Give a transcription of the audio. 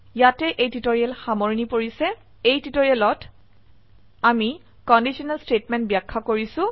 ইয়াতে এই টিউটৰীয়েল সামৰনি পৰিছে এই টিউটোৰিয়ালত আমি কন্ডিশনেল স্টেটমেন্ট ব্যাখ্যা কৰিছো